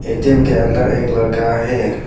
ATM के अंदर एक लड़का है।